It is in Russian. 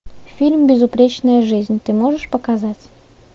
фильм безупречная жизнь ты можешь показать